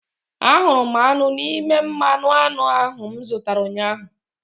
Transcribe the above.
Ahụrụ m aṅụ n'ime mmanụ aṅụ ahụ m zụtara ụnyahụ